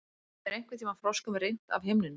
Hefur einhverntíma froskum rignt af himninum?